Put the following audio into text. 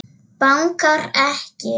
Bankar ekki.